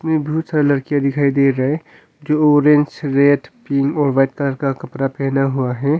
बहुत सारी लड़कियां दिखाई दे रहा है जो अरेंज रेड पिंक और व्हाइट कलर का कपड़ा पहना हुआ है।